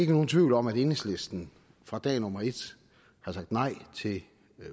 nogen tvivl om at enhedslisten fra dag nummer et har sagt nej til